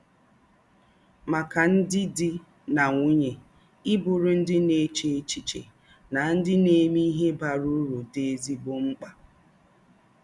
Màkà ndị̀ dì̄ na nwúnye, í bùrù ndị̀ na-èchē èchíché na ndị̀ na-emè íhè bàrà ūrù dì̄ ézígbò ḿkpà.